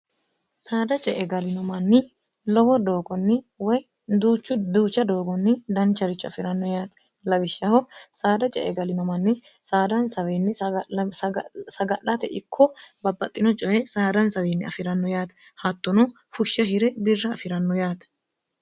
saada ce e galino manni lowo doogonni woy duuchu duucha doogonni dancharicho afi'ranno yaate lawishshaho saada ce egalino manni saadanswnni saga'late ikko babbaxxino coye saadansawinni afi'ranno yaate haattuno fushsha hire birra afiranno yaate